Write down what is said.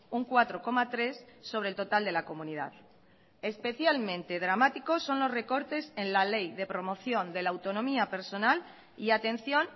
un cuatro coma tres sobre el total de la comunidad especialmente dramáticos son los recortes en la ley de promoción de la autonomía personal y atención